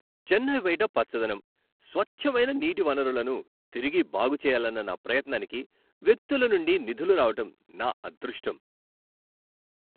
చెన్నై బయట పచ్చదనం, స్వచ్ఛమైన నీటి వనరులను తిరిగి బాగుచేయాలన్న నా ప్రయత్నానికి వ్యక్తుల నుండి నిధులు రావడం నా అదృష్టం.